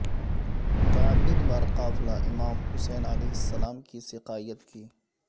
متعدد بار قافلہ امام حسین ع کی سقائیت کی